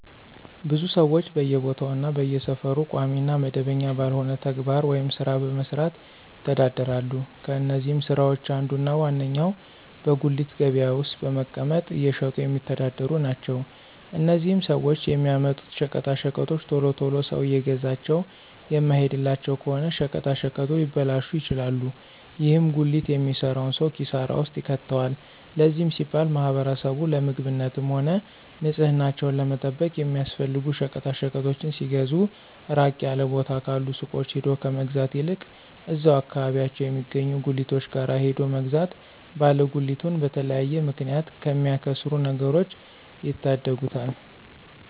ብዙ ሰወች በየቦታው እና በየሰፈሩ ቋሚ እና መደበኛ ባልሆነ ተግባር ወይም ስራ በመስራት ይተዳደራሉ። ከነዚህም ስራወች አንዱ እና ዋነኛው በጉሊት ገበያ ውስጥ በመቀመጥ እየሸጡ የሚተዳደሩ ናቸው። እነዚህም ሰወች የሚያመጡት ሸቀጣሸቀጦች ቶሎ ቶሎ ሰው እየገዛቸው የማይሄድላቸው ከሆነ ሸቀጣሸቀጡ ሊበላሹ ይችላሉ። ይህም ጉሊት የሚሰራውን ሰው ኪሳራ ውስጥ ይከተዋል። ለዚህም ሲባል ማህበረሰቡ ለምግብነትም ሆነ ንፅህናቸውን ለመጠበቅ የሚያስፈልጉ ሸቀጣሸቀጦችን ሲገዙ ራቅ ያለ ቦታ ካሉ ሱቆች ሄዶ ከመግዛት ይልቅ እዛው አከባቢያቸው የሚገኙ ጉሊቶች ጋር ሄዶ መግዛት ባለ ጉሊቱን በተለያየ ምክንያት ከሚያከስሩት ነገሮች ይታደጉታል።